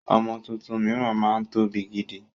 Ọmọ tuntun miran máa ń tóbi gidi